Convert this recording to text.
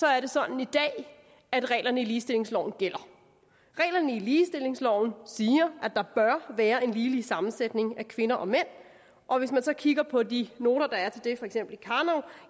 er det sådan i dag at reglerne i ligestillingsloven gælder reglerne i ligestillingsloven siger at der bør være en ligelig sammensætning af kvinder og mænd og hvis man så kigger lidt på de noter